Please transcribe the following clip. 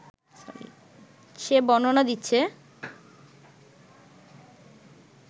সে বর্ণনা দিচ্ছে